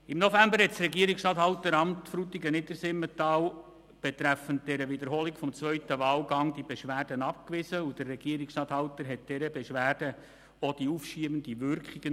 Im November wies das Regierungsstatthalteramt Frutigen-Niedersimmental die Beschwerde betreffend die Wiederholung des zweiten Wahlgangs ab und entzog dieser Beschwerde auch die aufschiebende Wirkung.